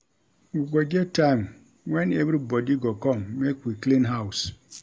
We go get time wen everybodi go come make we clean house.